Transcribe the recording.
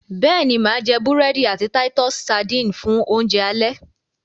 béèni má jé burẹdi àti Titus sardines fún Oúnjẹ alẹ́.